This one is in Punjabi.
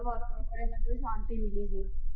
ਸ਼ਾਂਤੀ ਮਿਲੀ ਸੀ,